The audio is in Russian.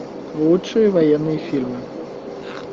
лучшие военные фильмы